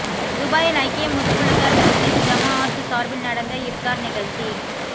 துபாயில் ஐக்கிய முதுகுளத்தூர் முஸ்லிம் ஜமாஅத் சார்பில் நடந்த இஃப்தார் நிகழ்ச்சி